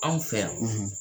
Anw fɛ yan, .